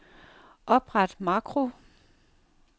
Opret makro.